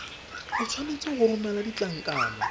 o tshwanetse go romela ditlankana